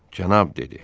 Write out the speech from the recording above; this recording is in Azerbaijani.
Cənab dedi.